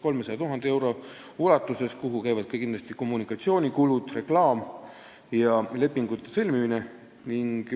300 000 eurot, mille alla käivad kindlasti ka kommunikatsiooni- ja reklaamikulud ning lepingute sõlmimise kulud.